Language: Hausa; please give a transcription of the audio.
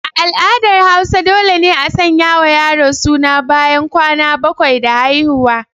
A al'adar hausa dole ne a sanya wa yaro suna ɓayan kwana bakwai da haihuwa.